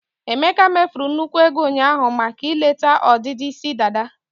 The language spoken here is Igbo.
emeka mefuru nnukwu ego ụnyaahụ maka ileta ọdịdị isi dada.